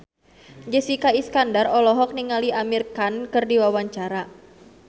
Jessica Iskandar olohok ningali Amir Khan keur diwawancara